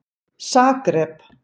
Zagreb